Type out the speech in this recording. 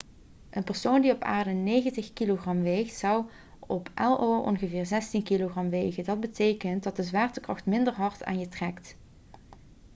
een persoon die op aarde 90 kg weegt zou op io ongeveer 16 kg wegen dat betekent dat de zwaartekracht minder hard aan je trekt